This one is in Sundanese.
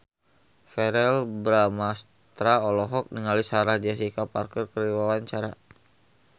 Verrell Bramastra olohok ningali Sarah Jessica Parker keur diwawancara